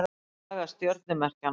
Saga stjörnumerkjanna.